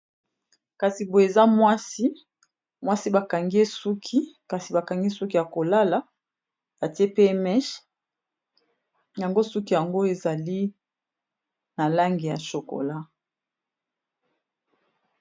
kasi boye eza mwasi mwasi bakangi esuki kasi bakangi suki ya kolala atie p mech yango suki yango ezali na lange ya chokola